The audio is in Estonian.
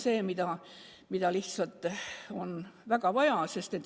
Seda lihtsalt on väga vaja.